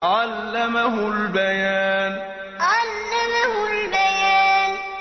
عَلَّمَهُ الْبَيَانَ عَلَّمَهُ الْبَيَانَ